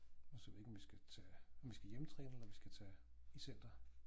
Altså jeg ved ikke om vi skal tage om vi skal hjemmetræne eller om vi skal tage i center